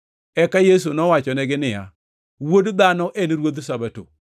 Eka Yesu nowachonegi niya, “Wuod Dhano en Ruodh Sabato.”